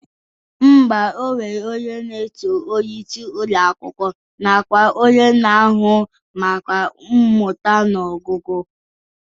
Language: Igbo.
Ḿbà, e nwere onye na-eso onyeisi Ụlọ akwụkwọ nakwa onye na-ahụ maka mmụta na ọgụgụ